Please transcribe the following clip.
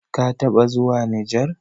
kataba zuwa nijar?